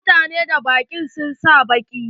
Mutanen daba ɗin sun sa baƙi.